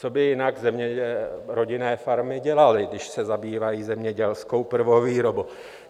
Co by jinak rodinné farmy dělaly, když se zabývají zemědělskou prvovýrobou?